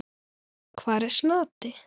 Hvar er Snati?